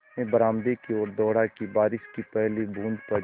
मैं बरामदे की ओर दौड़ा कि बारिश की पहली बूँद पड़ी